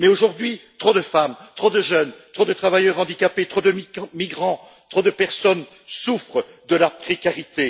Mais aujourd'hui, trop de femmes, trop de jeunes, trop de travailleurs handicapés, trop de migrants, trop de personnes souffrent de la précarité.